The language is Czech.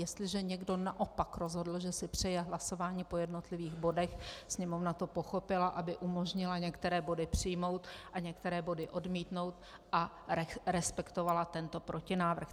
Jestliže někdo naopak rozhodl, že si přeje hlasování po jednotlivých bodech, Sněmovna to pochopila, aby umožnila některé body přijmout a některé body odmítnout, a respektovala tento protinávrh.